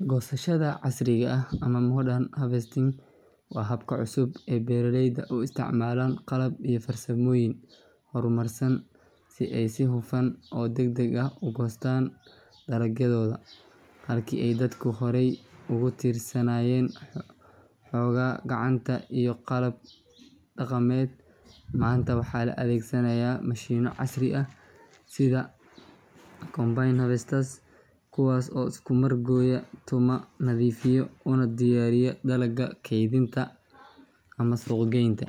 Goosashada casriga ah ama modern harvesting waa habka cusub ee beeraleyda u isticmaalaan qalab iyo farsamooyin horumarsan si ay si hufan oo degdeg ah u goostaan dalagyadooda. Halkii ay dadku horey ugu tiirsanaayeen xoogga gacanta iyo qalab dhaqameed, maanta waxaa la adeegsanayaa mashiinno casri ah sida combine harvesters, kuwaas oo isku mar gooya, tumo, nadiifiya una diyaariya dalagga kaydinta ama suuq geynta.